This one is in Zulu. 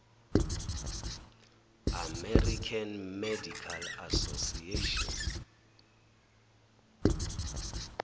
american medical association